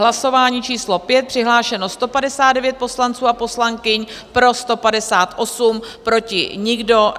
Hlasování číslo 5, přihlášeno 159 poslanců a poslankyň, pro 158, proti nikdo.